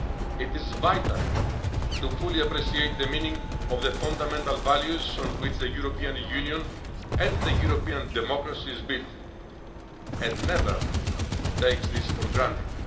It is vital to appreciate fully the meaning of the fundamental values on which the European Union and European democracy are built, and never to take these for granted.